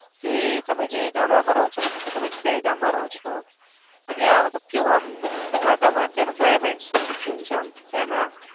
પછી તમે જે ગામડા માં રહો છો મતલબ કે તમે જે દહેગામ રહો ચો ત્યાં મતલબ કેવું આમ ત્યાં વાતાવરણ કેવું છે. ત્યાં નું climate કેવું છે.